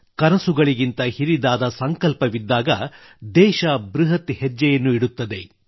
ಕನಸುಗಳಿಗಿಂತ ಹಿರಿದಾದ ಸಂಕಲ್ಪವಿದ್ದಾಗ ದೇಶ ಬೃಹತ್ ಹೆಜ್ಜೆಯನ್ನು ಇಡುತ್ತದೆ